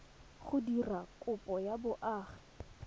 go dira kopo ya boagi